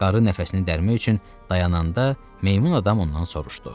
Qarı nəfəsini dərmək üçün dayananda meymun adam ondan soruşdu.